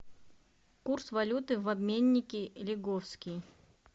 курс валюты в обменнике лиговский